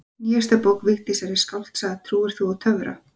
Nýjasta bók Vigdísar er skáldsagan Trúir þú á töfra?